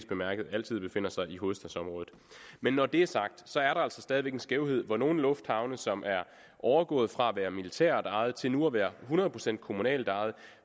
bemærke altid befinder sig i hovedstadsområdet men når det er sagt så er der altså stadig væk en skævhed hvor nogle lufthavne som er overgået fra at være militært ejet til nu at være hundrede procent kommunalt ejet